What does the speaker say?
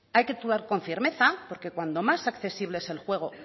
hay que actuar con firmeza porque cuanto más accesible es el juego